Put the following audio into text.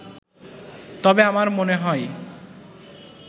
তবে আমার মনে হয়